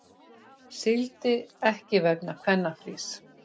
Sigldi ekki vegna kvennafrís